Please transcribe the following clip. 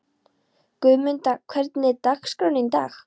Guðmunda, hvernig er dagskráin í dag?